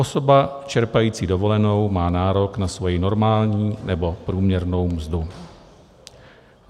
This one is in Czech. Osoba čerpající dovolenou má nárok na svoji normální nebo průměrnou mzdu.